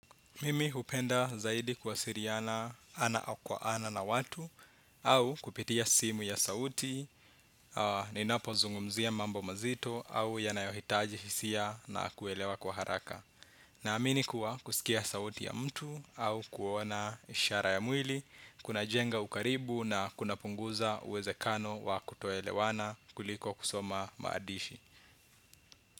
Mimi hupenda zaidi kuwasiriana ana au kwa ana na watu. Au kupitia simu ya sauti. Ninapo zungumzia mambo mazito au yanayohitaji hisia na kuelewa kwa haraka. Naamini kuwa kusikia sauti ya mtu au kuona ishara ya mwili kunajenga ukaribu na kunapunguza uwezekano wa kutoelewana kuliko kusoma maandishi.